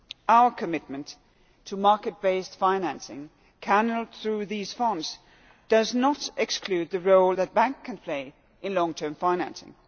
Our commitment to market based financing, channelled through these funds, does not exclude the role that banks can play in long term financing.